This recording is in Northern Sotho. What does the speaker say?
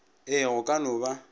ee go ka no ba